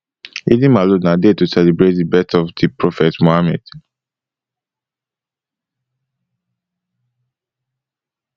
eidelmaulud na day to celebrate di birthday of di prophet muhammed